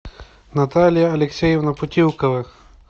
наталья алексеевна путилковых